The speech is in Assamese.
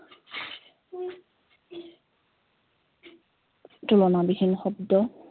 তুলনাবিহীন শব্দ